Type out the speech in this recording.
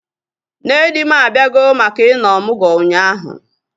Nne di m abịago maka ị nọ ọmụgwọ ụnyaahụ